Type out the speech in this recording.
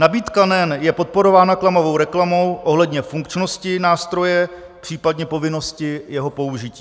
Nabídka NEN je podporována klamavou reklamou ohledně funkčnosti nástroje, případně povinnosti jeho použití.